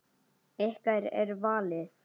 Ykkar er valið.